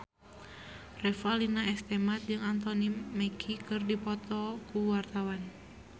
Revalina S. Temat jeung Anthony Mackie keur dipoto ku wartawan